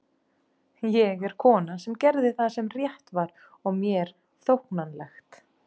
Ég er konan sem gerði það sem rétt var og mér þóknanlegt.